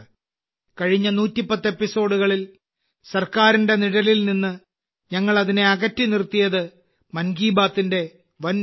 കഴിഞ്ഞ 110 എപ്പിസോഡുകളിൽ സർക്കാരിന്റെ നിഴലിൽ നിന്ന് ഞങ്ങൾ അതിനെ അകറ്റി നിർത്തിയത് മൻ കി ബാത്തിന്റെ വൻ വിജയമാണ്